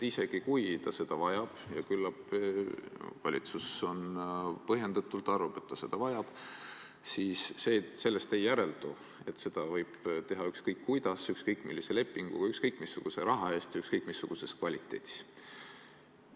Isegi kui riik seda vajab – ja küllap valitsus põhjendatult arvab, et ta seda vajab –, siis sellest ei järeldu, et seda võib teha ükskõik kuidas, ükskõik millise lepingu alusel, ükskõik missuguse raha eest, ükskõik missuguse kvaliteediga.